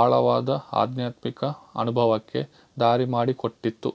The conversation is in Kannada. ಆಳವಾದ ಆಧ್ಯಾತ್ಮಿಕ ಅನುಭವಕ್ಕೆ ದಾರಿ ಮಾಡಿಕೊಟ್ಟಿತು